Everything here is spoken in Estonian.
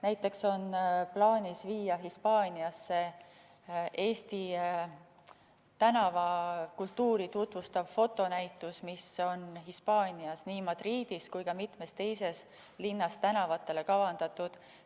Näiteks on plaanis viia Hispaaniasse Eesti tänavakultuuri tutvustav fotonäitus, mis on Hispaanias nii Madridis kui ka mitmes teises linnas tänavatele kavandatud.